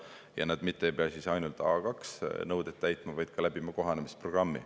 Ja nad mitte ei pea ainult A2 nõudeid täitma, vaid ka läbima kohanemisprogrammi.